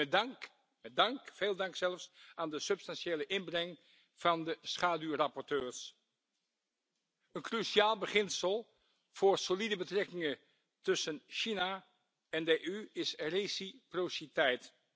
Met dank, veel dank zelfs, aan de substantiële inbreng van de schaduwrapporteurs. Een cruciaal beginsel voor solide betrekkingen tussen de EU en China is wederkerigheid.